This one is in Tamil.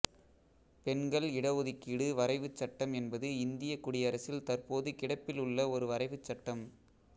பெண்கள் இடஒதுக்கீடு வரைவுச் சட்டம் என்பது இந்தியக் குடியரசில் தற்போது கிடப்பில் உள்ள ஒரு வரைவுச் சட்டம்